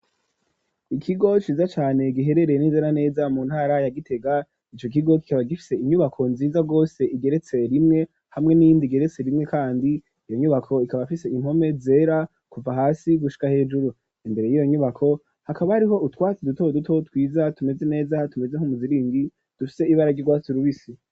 Ikigo ciza cane giherereye neza na neza mu ntara ya Gitega ico kigo kikaba gifise inyubako nziza rwose igeretse rimwe hamwe n'indi geretse rimwe kandi iyo nyubako ikaba afise impome zera kuva hasi gushika hejuru imbere yiyo nyubako hakaba hariho utwatsi duto duto twiza tumeze neza tumeze nk'umuziringi dufise ibara ry'urwatsi rubisi.